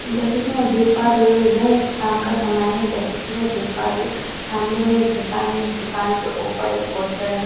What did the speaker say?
जैसे कि मैं देख पा रही हू यह एक साम का समय है जैसे कि मैं देख पा रही हू सामने में एक दुकान है दुकान के ऊपर एक पोस्टर है।